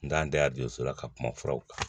N t'an da don so la ka kuma furaw kan